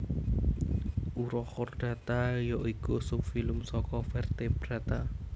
Urochordata ya iku subfilum saka vertebrata